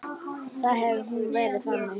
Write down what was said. Þá hefði hún verið þannig